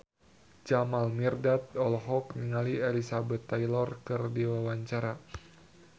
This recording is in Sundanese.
Jamal Mirdad olohok ningali Elizabeth Taylor keur diwawancara